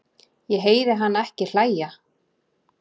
Ég heyri hana ekki hlæja